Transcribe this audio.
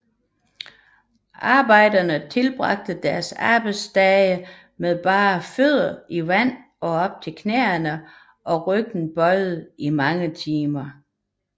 Arbejderne tilbragte deres arbejdsdage med bare fødder i vand op til knæene og ryggen bøjet i mange timer